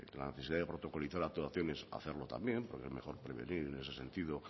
la necesidad de protocolizar actuaciones hacerlo también porque es mejor prevenir en ese sentido